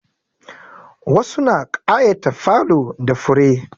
Wasu na ƙayata falo da fure.